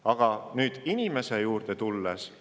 Aga tulen nüüd inimese juurde.